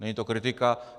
Není to kritika.